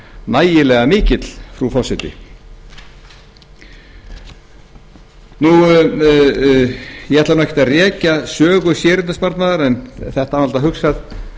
nægilega mikið frú forseti ég ætla nú ekkert að rekja sögu séreignarsparnaðar en þetta var náttúrlega hugsað